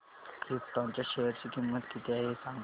krypton च्या share ची किंमत किती आहे हे सांगा